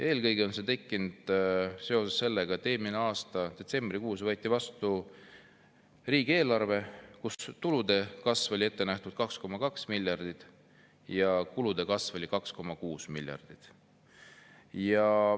Eelkõige on see tekkinud seetõttu, et eelmise aasta detsembrikuus võeti vastu riigieelarve, kus tulude kasvuna oli ette nähtud 2,2 miljardit ja kulude kasv oli 2,6 miljardit.